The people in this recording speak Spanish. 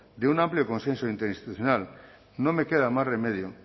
de un amplio consenso interinstitucional no me queda más remedio